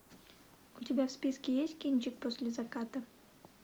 у тебя в списке есть кинчик после заката